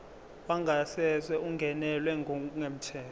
wangasese ungenelwe ngokungemthetho